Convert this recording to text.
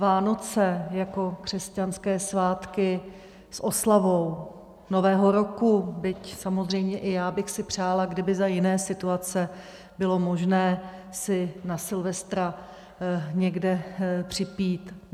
Vánoce jako křesťanské svátky s oslavou Nového roku, byť samozřejmě i já bych si přála, kdyby za jiné situace bylo možné si na silvestra někde připít.